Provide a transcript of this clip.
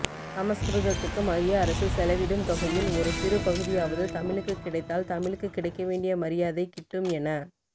சமஸ்கிருதத்துக்கு மையஅரசு செலவிடும் தொகையில் ஒரு சிறுபகுதியாவது தமிழுக்குக் கிடைத்தால் தமிழுக்குக் கிடைக்க வேண்டிய மரியாதை கிட்டும் என